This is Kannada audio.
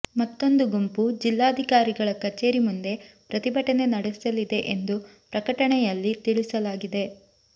ಮತ್ತೊಂದು ಗುಂಪು ಜಿಲ್ಲಾಧಿಕಾರಿಗಳ ಕಚೇರಿ ಮುಂದೆ ಪ್ರತಿಭಟನೆ ನಡೆಸಲಿದೆ ಎಂದು ಪ್ರಕಟಣೆಯಲ್ಲಿ ತಿಳಿಸಲಾಗಿದೆ